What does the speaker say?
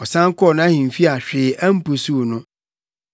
Ɔsan kɔɔ nʼahemfi a hwee ampusuw no.